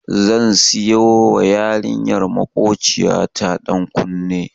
Zan siyawa yarinyar makociya ta ɗan kunne.